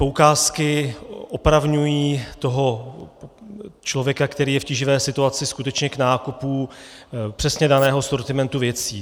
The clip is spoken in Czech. Poukázky opravňují toho člověka, který je v tíživé situaci, skutečně k nákupu přesně daného sortimentu věcí.